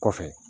Kɔfɛ